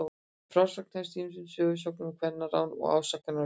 Frásögnin hefst á ýmsum sögusögnum um kvennarán og ásakanir á víxl.